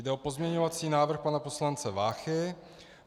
Jde o pozměňovací návrh pana poslance Váchy.